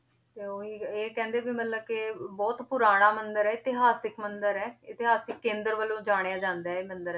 ਤੇ ਉਹੀ ਇਹ ਕਹਿੰਦੇ ਵੀ ਮਤਲਬ ਕਿ ਬਹੁਤ ਪੁਰਾਣਾ ਮੰਦਿਰ ਹੈ, ਇਤਿਹਾਸਕ ਮੰਦਿਰ ਹੈ ਇਤਿਹਾਸਕ ਕੇਂਦਰ ਵਜੋਂ ਜਾਣਿਆ ਜਾਂਦਾ ਇਹ ਮੰਦਿਰ